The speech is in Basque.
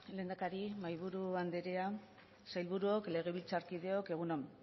lehendakari mahaiburu andrea sailburuok legebiltzarkideok egun on